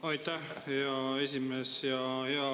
Aitäh, hea esimees!